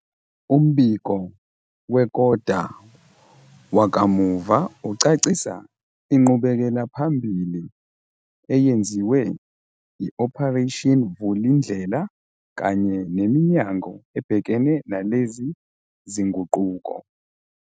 Umbiko wekota wakamuva ucacisa inqubekelaphambili eyenziwe i-Operation Vulindlela kanye neminyango ebhekene nalezi zinguquko.